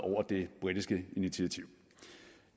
det britiske initiativ